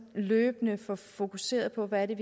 løbende får fokuseret på hvad det